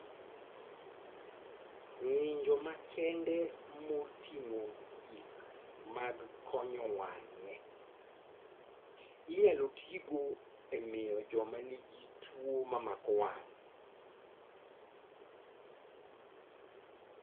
Ng'injo makende moting'o gik mag konyo wang'e, inyalo tigo e miyo joma nigi tuo mamako wang'